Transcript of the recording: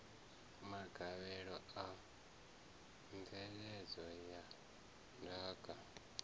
magavhelo a mveledzo ya ndaka